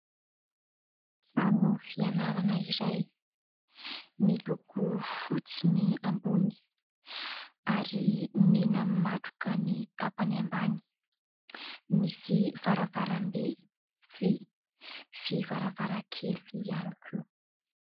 Trano fianarana iray miloko fotsy ny ambony ary mena matroka ny tapany ambany, misy varavarambe vy sy varavarankely ihany koa.